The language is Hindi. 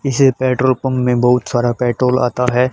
इसे पेट्रोल पंप में बहुत सारा पेट्रोल आता है।